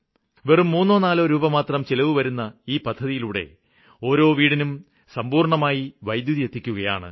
വെറും മൂന്നോ നാലോ രൂപമാത്രം ചിലവ് വരുന്ന ഈ പദ്ധതിയിലൂടെ ഓരോ വീടിനും സമ്പൂര്ണ്ണമായി വൈദ്യുതി എത്തിക്കുകയാണ്